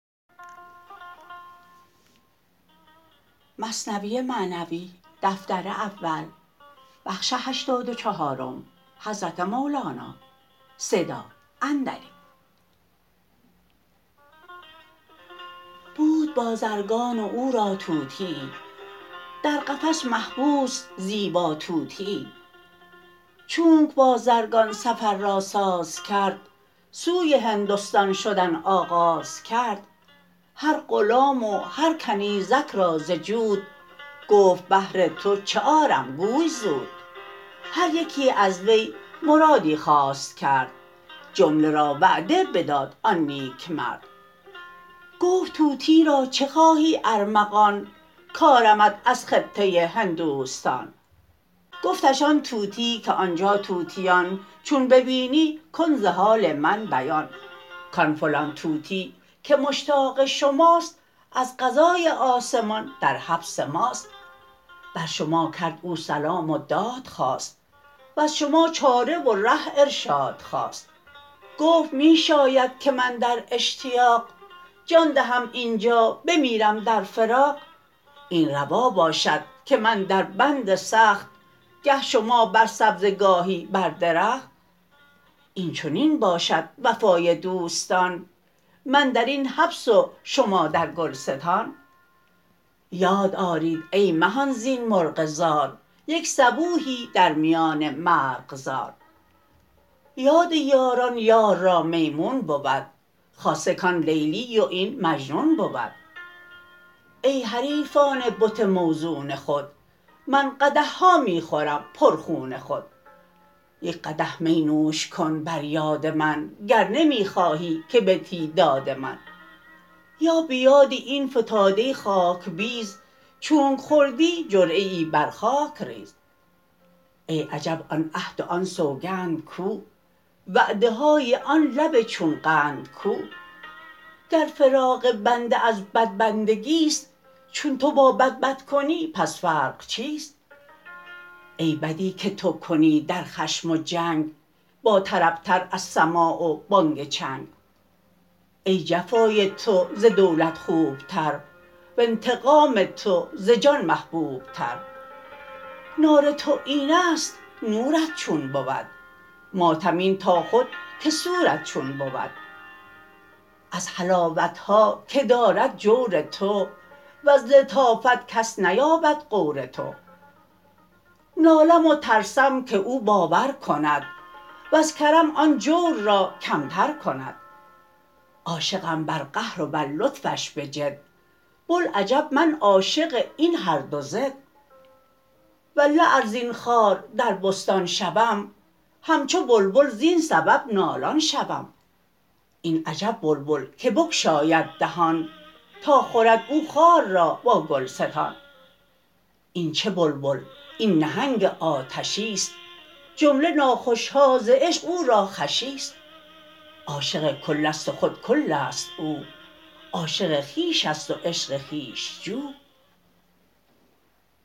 بود بازرگان و او را طوطیی در قفس محبوس زیبا طوطیی چونک بازرگان سفر را ساز کرد سوی هندستان شدن آغاز کرد هر غلام و هر کنیزک را ز جود گفت بهر تو چه آرم گوی زود هر یکی از وی مرادی خواست کرد جمله را وعده بداد آن نیک مرد گفت طوطی را چه خواهی ارمغان کارمت از خطه هندوستان گفتش آن طوطی که آنجا طوطیان چون ببینی کن ز حال من بیان کان فلان طوطی که مشتاق شماست از قضای آسمان در حبس ماست بر شما کرد او سلام و داد خواست وز شما چاره و ره ارشاد خواست گفت می شاید که من در اشتیاق جان دهم اینجا بمیرم در فراق این روا باشد که من در بند سخت گه شما بر سبزه گاهی بر درخت این چنین باشد وفای دوستان من درین حبس و شما در گلستان یاد آرید ای مهان زین مرغ زار یک صبوحی در میان مرغزار یاد یاران یار را میمون بود خاصه کان لیلی و این مجنون بود ای حریفان بت موزون خود من قدحها می خورم پر خون خود یک قدح می نوش کن بر یاد من گر نمی خواهی که بدهی داد من یا به یاد این فتاده خاک بیز چونک خوردی جرعه ای بر خاک ریز ای عجب آن عهد و آن سوگند کو وعده های آن لب چون قند کو گر فراق بنده از بدبندگی ست چون تو با بد بد کنی پس فرق چیست ای بدی که تو کنی در خشم و جنگ با طرب تر از سماع و بانگ چنگ ای جفای تو ز دولت خوب تر و انتقام تو ز جان محبوب تر نار تو اینست نورت چون بود ماتم این تا خود که سورت چون بود از حلاوتها که دارد جور تو وز لطافت کس نیابد غور تو نالم و ترسم که او باور کند وز کرم آن جور را کمتر کند عاشقم بر قهر و بر لطفش بجد بوالعجب من عاشق این هر دو ضد والله ار زین خار در بستان شوم همچو بلبل زین سبب نالان شوم این عجب بلبل که بگشاید دهان تا خورد او خار را با گلستان این چه بلبل این نهنگ آتشیست جمله ناخوشها ز عشق او را خوشیست عاشق کلست و خود کلست او عاشق خویشست و عشق خویش جو